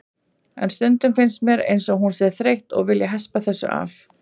En stundum finnst mér eins og hún sé þreytt og vilji hespa þessu af.